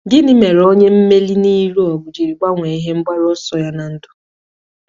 Gịnị mere onye mmeri n'ịlụ ọgụ ji gbanwee ihe mgbaru ọsọ ya ná ndụ?